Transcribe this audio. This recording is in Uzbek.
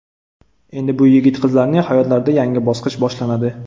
Endi bu yigit-qizlarning hayotlarida yangi bosqich boshlanadi.